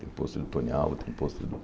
Tem pôster do Tony Alva, tem pôster do